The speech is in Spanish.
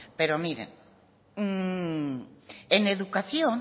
pero miren en educación